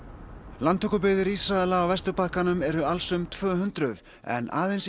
landtökubyggðir Ísraela á Vesturbakkanum eru alls um tvö hundruð en aðeins í